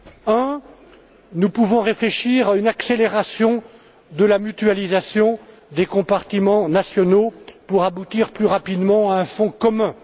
Premièrement, nous pouvons réfléchir à une accélération de la mutualisation des compartiments nationaux pour aboutir plus rapidement à un fonds commun.